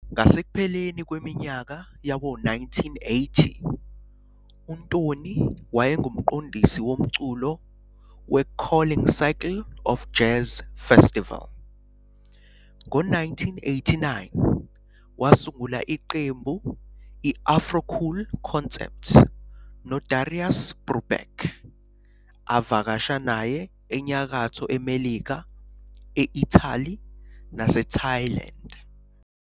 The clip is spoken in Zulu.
Ngasekupheleni kweminyaka yawo-1980, uNtoni wayengumqondisi womculo weCarling Circle of Jazz festival. Ngo-1989 wasungula iqembu i-Afro Cool Concept noDarius Brubeck, avakasha naye eNyakatho Melika, e-Italy naseThailand.